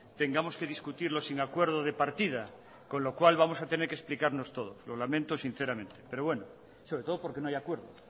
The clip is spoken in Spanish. tengamos que discutirlo sin acuerdo de partida con lo cual vamos a tenernos que explicarnos todos lo lamento sinceramente pero bueno sobre todo porque no hay acuerdo